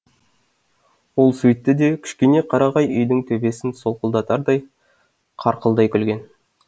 ол сөйтті де кішкене қарағай үйдің төбесін солқылдатардай қарқылдай күлген